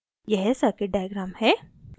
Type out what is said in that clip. यह circuit diagram है